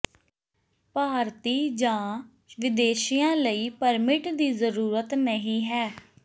ਭਾਰਤੀ ਜਾਂ ਵਿਦੇਸ਼ੀਆਂ ਲਈ ਪਰਮਿਟ ਦੀ ਜ਼ਰੂਰਤ ਨਹੀਂ ਹੈ